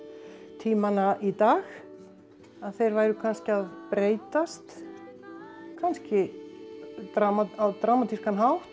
tímana í dag að þeir væru kannski að breytast kannski á dramatískan hátt